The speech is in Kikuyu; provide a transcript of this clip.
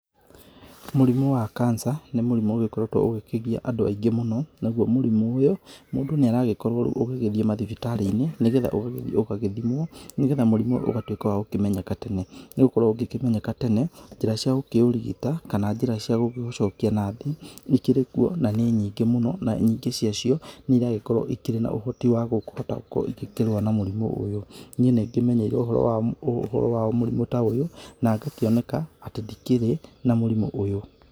Mũrimũ wa kanca nĩ mũrimũ ũgĩkoretwo ũgĩkĩgia andũ aingĩ mũno. naguo mũrimũ ũyũ, mũndũ nĩ aragĩkorwo ũgagĩthiĩ mathibitarĩ-inĩ, nĩ getha ũgagĩthiĩ ũgagĩthimwo nĩ getha mũrimũ ũyũ ũgagĩtwĩka wa kũmenyeka tene. Nĩ gũgĩkorwo ũngĩkĩmenyeka tene, njĩra ciakũũrigita kana njĩra ciakũũcokia na thĩ ikĩrĩ kuo na nĩ nyngĩ mũno na nyingĩ cia cio, nĩ irakorwo ikĩrĩ na ũhoti wa kuhota kũ ikĩrũa na mũrimũ ũyũ. Niĩ nĩ ngĩmenyeirwo ũhoro wa mũrimũ ta ũyũ na ngakioneka ati ndikĩrĩ na mũrimũ ũyũ.